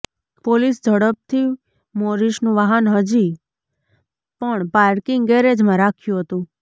police ઝડપથી મોરિસનું વાહન હજી પણ પાર્કિંગ ગેરેજમાં રાખ્યું હતું